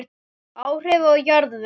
Áhrif á jarðveg